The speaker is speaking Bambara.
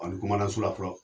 Ani komanda sola fɔlɔ